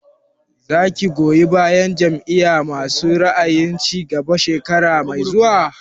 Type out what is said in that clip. Za ki goyi bayan Jam'iyar masu ra'ayin cigaba shekara mai zuwa?